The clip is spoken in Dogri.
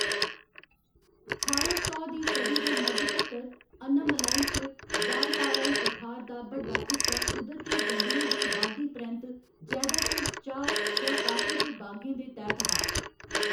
ठारां सौ दी सदी दे मद्ध तक्कर, अनामलाई च वालपाराई पठार दा बड्डा हिस्सा कुदरती जंगलें दी बाड्ढी परैंत्त जैदातर चाह्‌‌ जां कॉफी दे बागें दे तैह्‌‌‌त हा।